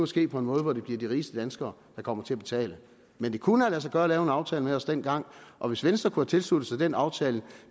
ske på en måde hvor det bliver de rigeste danskere der kommer til at betale men det kunne have ladet sig gøre at lave en aftale med os dengang og hvis venstre kunne have tilsluttet sig den aftale